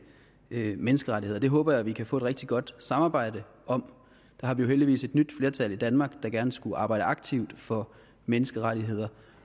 menneskerettigheder det håber jeg at vi kan få et rigtig godt samarbejde om der har vi jo heldigvis et nyt flertal i danmark der gerne skulle arbejde aktivt for menneskerettigheder